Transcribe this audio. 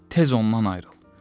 Tez ondan ayrıl.